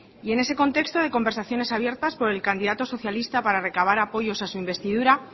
y en ese contexto de conversaciones abiertas por el candidato socialista para recabar apoyos a su investidura